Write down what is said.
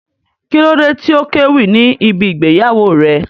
Kí ló dé tí ó kéwì ní ibí ìgbéyàwó rẹ̀?